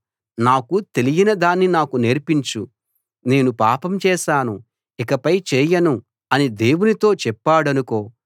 నాకు తెలియని దాన్ని నాకు నేర్పించు నేను పాపం చేశాను ఇకపై చేయను అని దేవునితో చెప్పాడనుకో